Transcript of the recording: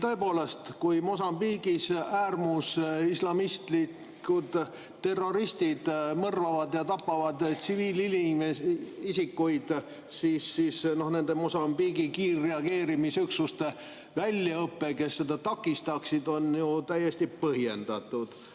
Tõepoolest, kui Mosambiigis äärmusislamistlikud terroristid mõrvavad ja tapavad tsiviilisikuid, siis nende Mosambiigi kiirreageerimisüksuste väljaõpe, kes seda takistaksid, on ju täiesti põhjendatud.